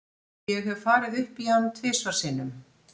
Ég hef farið upp í hann tvisvar sinnum.